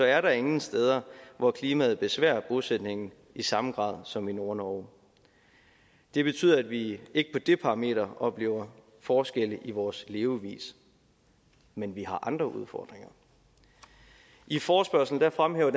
er der ingen steder hvor klimaet besværer bosætningen i samme grad som i nordnorge det betyder at vi ikke på det parameter oplever forskelle i vores levevis men vi har andre udfordringer i forespørgslen fremhæver